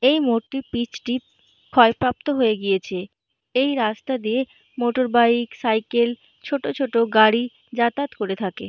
এই মোড়টির পিচ টি ক্ষয়প্রাপ্ত হয়ে গিয়েছে। এই রাস্তা দিয়ে মোটরবাইক সাইকেল ছোট ছোট গাড়ি যাতায়াত করে থাকে ।